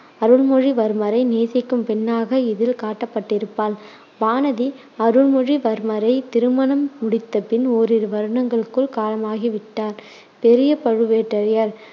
அருள்மொழிவர்மரை நேசிக்கும் பெண்ணாக இதில் காட்டப்பட்டிருப்பாள். வானதி அருள்மொழிவர்மரை திருமணம் முடித்த பின் ஒரிரு வருடங்களுக்குள் காலமாகி விட்டார் பெரிய பழுவேட்டரையர்